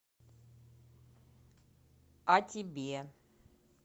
а тебе